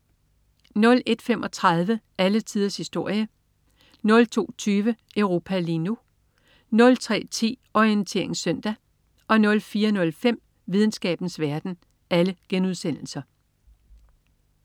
01.35 Alle tiders historie* 02.20 Europa lige nu* 03.10 Orientering Søndag* 04.05 Videnskabens verden*